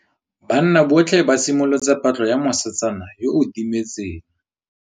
Banna botlhê ba simolotse patlô ya mosetsana yo o timetseng.